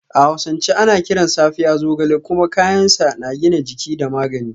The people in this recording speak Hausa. A hausance ana kiran Safiya Zogale kuma kayan sa na gina jiki da magani